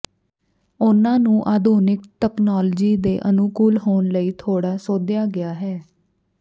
ਉਨ੍ਹਾਂ ਨੂੰ ਆਧੁਨਿਕ ਤਕਨਾਲੋਜੀ ਦੇ ਅਨੁਕੂਲ ਹੋਣ ਲਈ ਥੋੜ੍ਹਾ ਸੋਧਿਆ ਗਿਆ ਹੈ